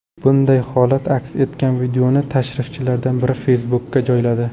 Bunday holat aks etgan videoni tashrifchilardan biri Facebook’ka joyladi .